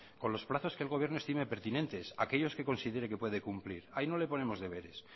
con los plazos que el gobierno estime pertinentes aquellos que considere que puede cumplir ahí no le ponemos deberes